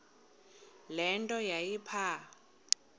le nto yayipha